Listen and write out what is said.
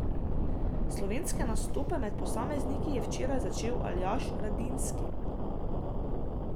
Slovenske nastope med posamezniki je včeraj začel Aljaž Radinski.